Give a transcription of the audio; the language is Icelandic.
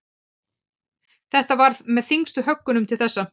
Þetta var með þyngstu höggunum til þessa.